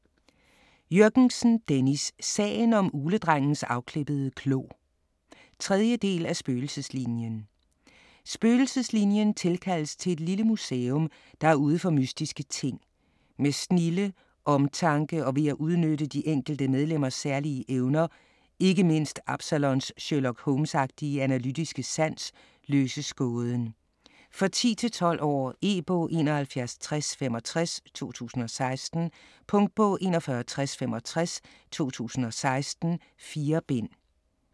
Jürgensen, Dennis: Sagen om ugledrengens afklippede klo 3. del af Spøgelseslinien. Spøgelseslinien tilkaldes til et lille museum, der er ude for mystiske ting. Med snilde, omtanke og ved at udnytte de enkelte medlemmers særlige evner, ikke mindst Absalons Sherlock Holmes-agtige analytiske sans, løses gåden. For 10-12 år. E-bog 716065 2016. Punktbog 416065 2016. 4 bind.